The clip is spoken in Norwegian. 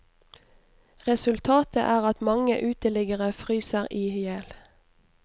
Resultatet er at mange uteliggere fryser i ihjel.